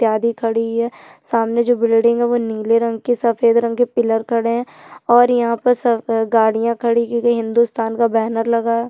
इत्यादी खड़ी हैं सामने जो बिल्डिंग है वो निले रंग कि सफेद रंग कि पिल्लर खड़े है और यहाँ पे सब गाड़िया खड़ी हैं क्यूंकी हिन्दुस्तान का बैनर लगा है।